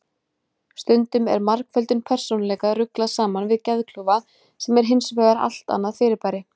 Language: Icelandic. Stundum er margföldum persónuleika ruglað saman við geðklofa sem er hins vegar allt annað fyrirbæri.